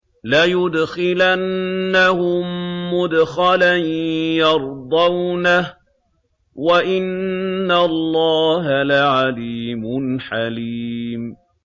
لَيُدْخِلَنَّهُم مُّدْخَلًا يَرْضَوْنَهُ ۗ وَإِنَّ اللَّهَ لَعَلِيمٌ حَلِيمٌ